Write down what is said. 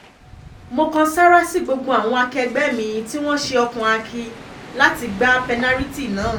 mo kan sárá sí gbogbo àwọn akẹgbẹ́ mi tí wọ́n ṣe ọkàn akin láti gba pẹ́nàrìtì náà